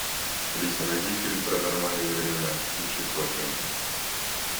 алиса найди фильм паранормальные явления случай в токио